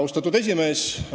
Austatud esimees!